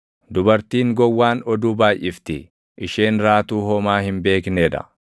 Dubartiin gowwaan oduu baayʼifti; isheen raatuu homaa hin beeknee dha.